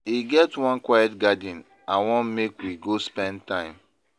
E get one quiet garden I wan make we go spend time.